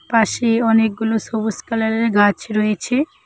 পাশে অনেকগুলো সোবুস কালারের গাছ রয়েছে।